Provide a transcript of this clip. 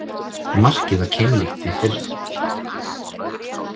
Markið var keimlíkt því fyrra